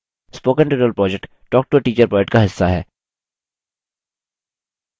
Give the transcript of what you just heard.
spoken tutorial project talktoateacher project का हिस्सा है